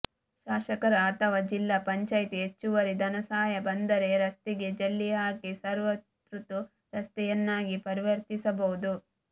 ಶಾಸಕರ ಅಥವಾ ಜಿಲ್ಲಾ ಪಂಚಾಯಿತಿ ಹೆಚ್ಚುವರಿ ಧನಸಹಾಯ ಬಂದರೆ ರಸ್ತೆಗೆ ಜಲ್ಲಿ ಹಾಕಿ ಸರ್ವ ಋತು ರಸ್ತೆಯನ್ನಾಗಿ ಪರಿವರ್ತಿಸಬಹುದು